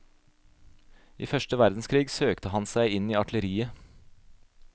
I første verdenskrig søkte han seg inn i artilleriet.